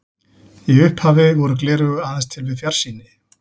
Í upphafi voru gleraugu aðeins til við fjarsýni.